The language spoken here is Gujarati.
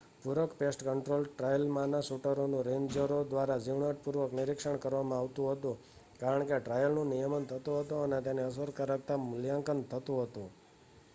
પૂરક પેસ્ટ કન્ટ્રોલ ટ્રાયલમાંના શૂટરોનું રેન્જરો દ્વારા ઝીણવટપૂર્વક નિરીક્ષણ કરવામાં આવતું હતું કારણ કે ટ્રાયલનું નિયમન થતું હતું અને તેની અસરકારકતાનું મૂલ્યાંકન થતું હતું